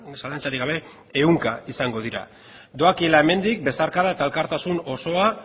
zalantzarik gabe ehunka izango dira doakiala hemendik besarkada eta elkartasun osoa